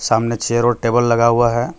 सामने चेयर और टेबल लगा हुआ है.